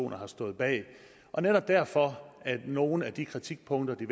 har stået bag og netop derfor er nogle af de kritikpunkter de